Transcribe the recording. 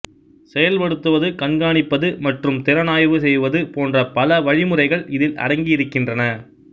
செயல்படுத்துவது கண்காணிப்பது மற்றும் திறனாய்வு செய்வது போன்ற பல வழிமுறைகள் இதில் அடங்கியிருக்கினறன